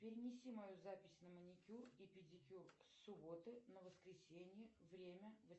перенеси мою запись на маникюр и педикюр с субботы на воскресенье время